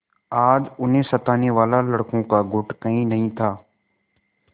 आज उन्हें सताने वाला लड़कों का गुट कहीं नहीं था